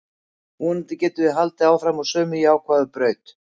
Vonandi getum við haldið áfram á sömu jákvæðu braut.